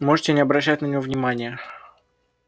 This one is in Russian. можете не обращать на него внимания